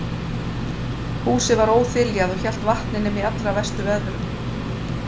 Húsið var óþiljað og hélt vatni nema í allra verstu veðrum.